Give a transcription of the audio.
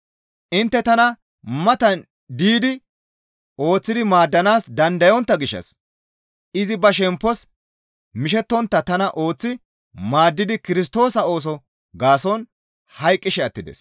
Intte tana matan diidi ooththi maaddanaas dandayontta gishshas izi ba shemppos mishettontta tana ooththi maaddidi Kirstoosa ooso gaason hayqqishe attides.